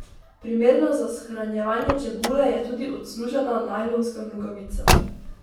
Primerna za shranjevanje čebule je tudi odslužena najlonska nogavica.